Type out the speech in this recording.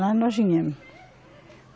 Lá nós viemos.